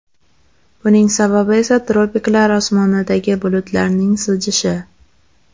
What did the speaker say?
Buning sababi esa tropiklar osmonidagi bulutlarning siljishi.